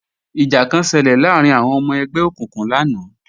Ìjà kan ṣelẹ̀ láàrín àwọn ọmọ ẹgbẹ́ òkùnkùn lánàá